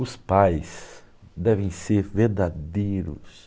Os pais devem ser verdadeiros.